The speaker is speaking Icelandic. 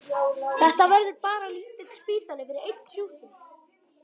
Þetta verður bara lítill spítali fyrir einn sjúkling.